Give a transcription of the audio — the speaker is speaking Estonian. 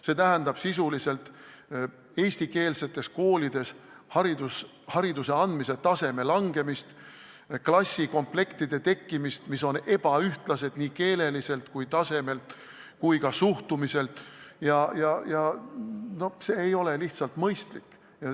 See tähendab sisuliselt eestikeelsetes koolides hariduse andmise taseme langemist, selliste klassikomplektide tekkimist, mis on ebaühtlased nii keeleliselt tasemelt kui ka suhtumiselt, ja see ei ole lihtsalt mõistlik.